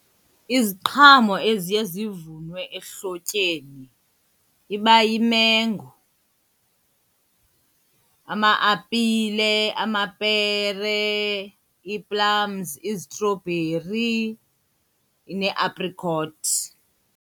Iziqhamo eziye zivunwe ehlotyeni iba yimengo, ama-apile, amapere ii-plums, izitrobheri, neeaprikothi.